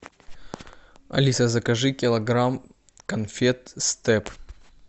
алиса закажи килограмм конфет степ